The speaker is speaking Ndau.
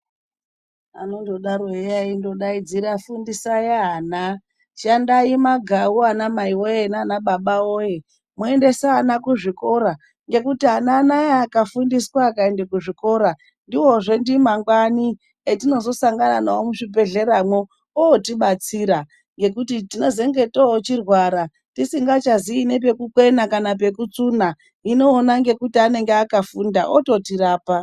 Anondodaro eya eindodaidzira echiti fundisai vlana, shandai magau ana mai woye nana baba woye muendesa vana kuzvikora. Ngekuti ana anaaya akafundiswa akaendeswa kuzvikora ndiwozve ndimangwani etinozosangana nawo muzvibhedhlera mwo ootibatsira ngekuti tinezenge toochirwara tisingachazivi pekukwena kana pekutsuna, hino ona ngekuti anenge akafunda ototirapa.